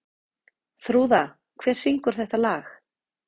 Þrúða, hver syngur þetta lag?